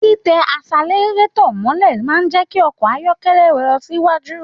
Titẹ asẹ̀lẹrátọ̀ mọ̀lẹ́ máa n jẹ kí ọkọ ayọkẹlẹ lọ sí iwájú.